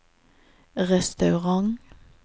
restaurant